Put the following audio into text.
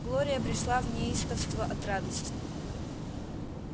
глория пришла в неистовство от радости